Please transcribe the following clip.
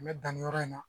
N bɛ dan nin yɔrɔ in na